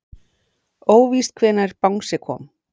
Óvíst hvenær bangsi kom